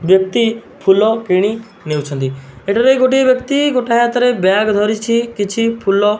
ବ୍ୟକ୍ତି ଫୁଲ କିଣି ନେଉଛନ୍ତି ଏଠାରେ ଗୋଟିଏ ବ୍ୟକ୍ତି ଗୋଟାଏ ହାତରେ ବ୍ୟାଗ୍ ଧରିଛି କିଛି ଫୁଲ --